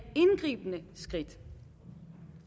indgribende skridt